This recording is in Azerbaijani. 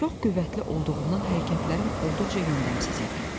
Çox qüvvətli olduğumdan hərəkətlərim olduqca yöndəmsiz idi.